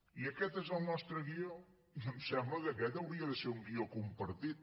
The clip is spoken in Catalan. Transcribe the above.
i aquest és el nostre guió i em sembla que aquest hauria de ser un guió compartit